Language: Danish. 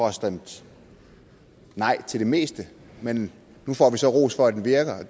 har stemt nej til det meste men nu får vi så ros for at den virker